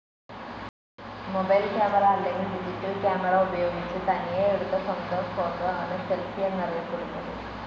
Mobile camera അല്ലെങ്കിൽ digital camera ഉപയോഗിച്ച് തനിയെ എടുത്ത സ്വന്തം ഫോട്ടോ ആണ് സെൽഫി എന്നറിയപെടുന്നത്.